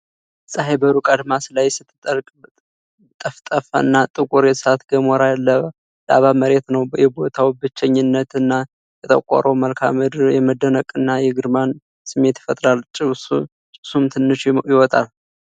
ፀሐይ በሩቅ አድማስ ላይ ስትጠልቅ፣ ጠፍጣፋና ጥቁር የእሳተ ገሞራ ላቫ መሬት ነው። የቦታው ብቸኝነት እና የጠቆረው መልክዓ ምድር የመደነቅንና የግርማን ስሜት ይፈጥራል፤ ጭሱም ትንሽ ይወጣል።